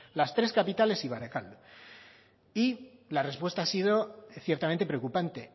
las tres capitales y barakaldo y la respuesta ha sido ciertamente preocupante